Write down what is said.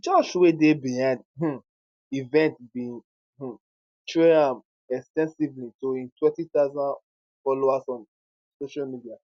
di church wey dey behind um event bin um trail am ex ten sively to im 20000 followers on social media